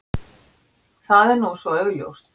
Það er nú svo augljóst.